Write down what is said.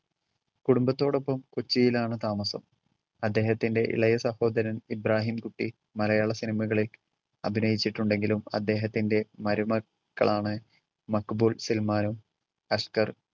കുടുംബത്തോടൊപ്പം കൊച്ചിയിലാണ് താമസം. അദ്ദേഹത്തിന്റെ ഇളയ സഹോദരൻ ഇബ്രഹിം കുട്ടി മലയാള സിനിമയിൽ അഭിനച്ചിട്ടുണ്ടെങ്കിൽ അദ്ദേഹത്തിന്റെ മരുമക്കളാണ് മക്ബൂൽ സൽമാനും അഷ്‌കർ